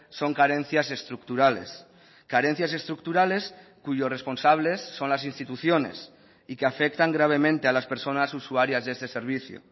son carencias estructurales carencias estructurales cuyos responsables son las instituciones y que afectan gravemente a las personas usuarias de este servicio